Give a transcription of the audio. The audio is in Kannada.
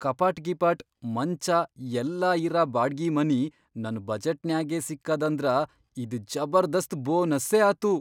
ಕಪಾಟ್ ಗಿಪಾಟ್, ಮಂಚಾ ಎಲ್ಲಾ ಇರ ಬಾಡ್ಗಿ ಮನಿ ನನ್ ಬಜೆಟ್ನ್ಯಾಗೇ ಸಿಕ್ಕದಂದ್ರ ಇದ್ ಜಬರ್ದಸ್ತ್ ಬೋನಸ್ಸೇ ಆತು.